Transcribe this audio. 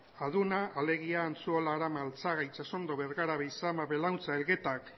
aduna alegia antzuola arama altzaga itsasondo bergara beizama belauntza elgeta